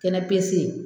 Kɛnɛ pese